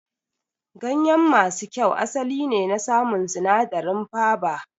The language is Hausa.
Gayen masu kyau asali ne na samu sinadarin faba